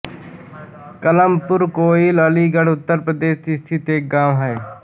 कमलपुर कोइल अलीगढ़ उत्तर प्रदेश स्थित एक गाँव है